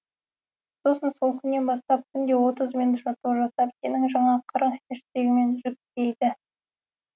сосын сол күннен бастап күнде отыз минут жаттығу жасап сенің жаңа қырың хэштегімен жүктейді